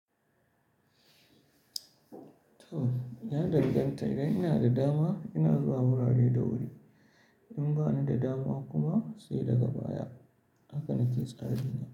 To, ya danganta. Idan ina da dama, ina zuwa wurare da wuri. In bani da dama kuma sai daga baya. Haka na ke tsarin.